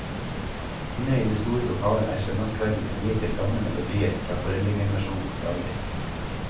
Inne i det store lokalet er søndagskveldene viet til gamle melodier fra foreldregenerasjonens dager.